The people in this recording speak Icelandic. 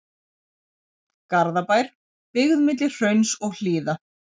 Garðabær, byggð milli hrauns og hlíða.